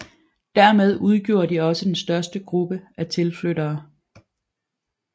Dermed udgjorde de også den største gruppe af tilflyttere